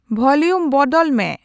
volume ᱵᱚᱰᱚᱞ ᱢᱮ